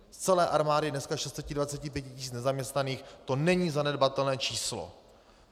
Z celé armády dnes 625 tisíc nezaměstnaných to není zanedbatelné číslo.